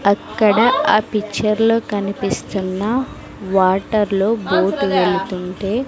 అక్కడ ఆ పిక్చర్ లో కనిపిస్తున్న వాటర్ లో బోట్ వెళ్తుంటే.